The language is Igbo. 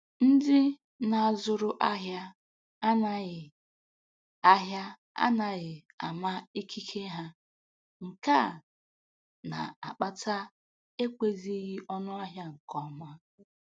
Ndị na-azụrụ ahịa anaghị ahịa anaghị ama ikike ha, nke a na-akpata ekwezighị ọnụ ahịa nke ọma